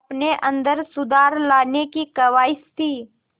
अपने अंदर सुधार लाने की ख़्वाहिश थी